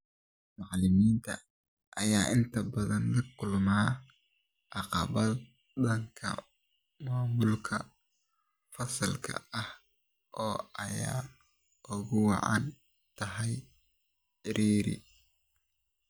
Macallimiinta ayaa intabadan lakulma caqabado dhanka maamulka fasalka ah oo ay ugu wacan tahay ciriiri.